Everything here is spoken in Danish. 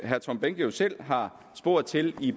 herre tom behnke selv har spurgt til i